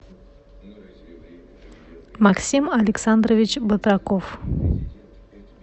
максим александрович батраков